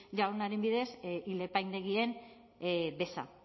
jaunaren bidez ile apaindegien beza